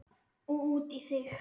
Og út í þig.